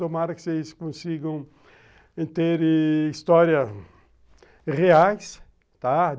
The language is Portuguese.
Tomara que vocês consigam ter histórias reais, tá?